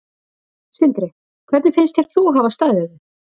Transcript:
Sindri: Hvernig finnst þér þú hafa staðið þig?